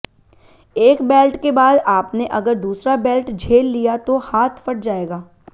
एक बेल्ट के बाद आपने अगर दूसरा बेल्ट झेल लिया तो हाथ फट जाएगा